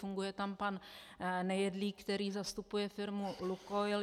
Funguje tam pan Nejedlý, který zastupuje firmu Lukoil.